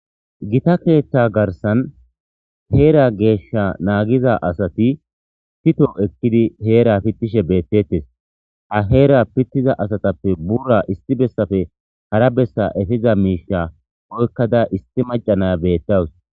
gita keeththa garsan heera geeshsha naagiza asati pito ekkidi heera pittishe beettettes a heera pittiza asatappe bura isti bessafe hara bessa efiza miisha oykkada isti macanaya beettawus